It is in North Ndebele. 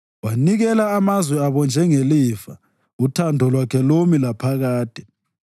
Wanikela amazwe abo njengelifa, uthando lwakhe lumi laphakade.